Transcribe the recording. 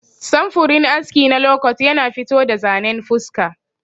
Samfurin aski na lokot yana fito da zanen fuska.